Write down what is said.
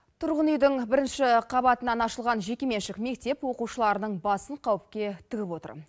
тұрғын үйдің бірінші қабатынан ашылған жеке меншік мектеп оқушылардың басын қауіпке тігіп отыр